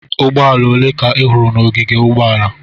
Ụgbọala ole ka ị hụrụ n'ogige ụgbọala?